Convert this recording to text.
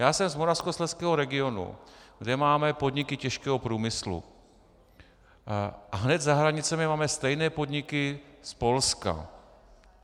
Já jsem z moravskoslezského regionu, kde máme podniky těžkého průmyslu, a hned za hranicemi máme stejné podniky z Polska.